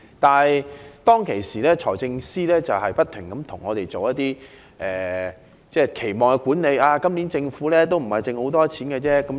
當初，財政司司長不斷向我們進行期望管理，說今年政府盈餘不多。